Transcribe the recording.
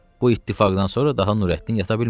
Bu ittifaqdan sonra daha Nurəddin yata bilmədi.